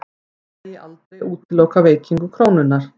Svo megi aldrei útiloka veikingu krónunnar